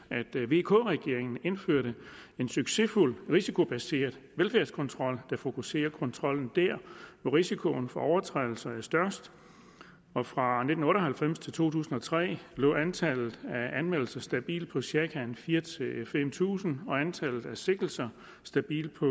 at vk regeringen indførte en succesfuld risikobaseret velfærdskontrol der fokuserer kontrollen der hvor risikoen for overtrædelser er størst fra nitten otte og halvfems til to tusind og tre lå antallet af anmeldelser stabilt på cirka fire fem tusind og antallet af sigtelser stabilt på